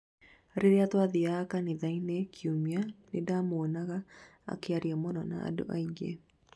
rĩrĩa twathiaga kanitha-ini kiũmia, nindĩramũonaga akĩaria mũno na andũ aingĩ.